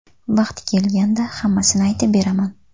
Vaqti kelganda hammasini aytib beraman.